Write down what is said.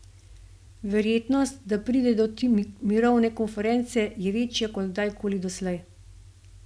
Verjetnost, da pride do te mirovne konference, je večja kot kdaj koli doslej.